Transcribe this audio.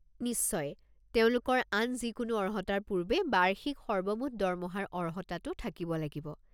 নিশ্চয়, তেওঁলোকৰ আন যিকোনো অৰ্হতাৰ পূৰ্বে বাৰ্ষিক সৰ্বমুঠ দৰমহাৰ অৰ্হতাটো থাকিব লাগিব।